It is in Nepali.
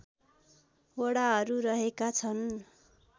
वडाहरू रहेका छन्